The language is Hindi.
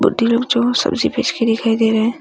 लोग जो सब्जी बेच के दिखाई दे रहा हैं।